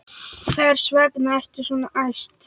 Hvers vegna ertu svona æst?